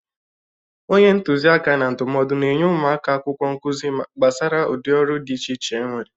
Onye ntuzi aka na ndụmọdụ na-enye ụmụ akwụkwọ nkụzị gbasara udị ọrụ dị iche iche enwere.